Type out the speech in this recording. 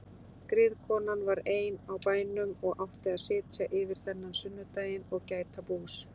Griðkonan var ein á bænum og átti að sitja yfir þennan sunnudaginn og gæta bús.